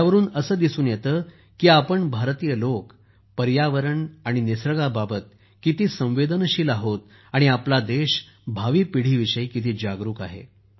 यावरून असे दिसून येते की आपण भारतीय लोक पर्यावरण आणि निसर्गाबाबत किती संवेदनशील आहोत आणि आपला देश भावी पिढीविषयी किती जागरूक आहे